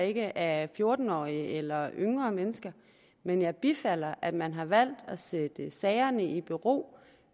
ikke af fjorten årige eller yngre mennesker men jeg bifalder at man har valgt at sætte sagerne i bero